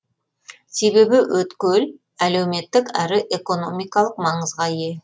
себебі өткел әлеуметтік әрі экономикалық маңызға ие